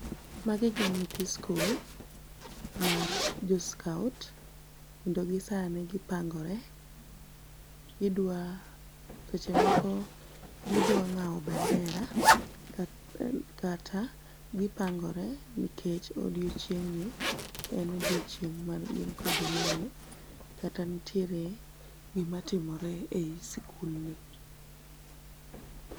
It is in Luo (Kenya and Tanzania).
magi gin nyithi school mar jo scout kendo gin gipang'ore ,seche moko gidwa ng'awo bendera kata gipangore nikech odiochieng' ni en odiochineg' ma gin kod welo kata nitiere gima timore ei school ni